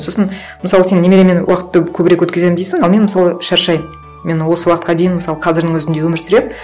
сосын мысалы сен немеремен уақытты көбірек өткіземін дейсің ал мен мысалы шаршаймын мен осы уақытқа дейін мысалы қазірдің өзінде өмір сүремін